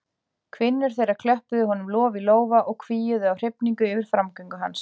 Kvinnur þeirra klöppuðu honum lof í lófa og hvíuðu af hrifningu yfir framgöngu hans.